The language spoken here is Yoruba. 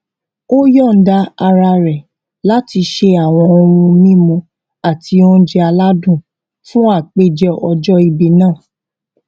ó yòǹda ara rè láti ṣe àwọn ohun mímu àti oúnjẹ aládùn fún àpèjẹ ọjó ìbí náà